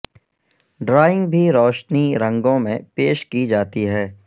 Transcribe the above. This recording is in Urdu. ڈرائنگ بھی روشنی رنگوں میں پیش کی جاتی ہے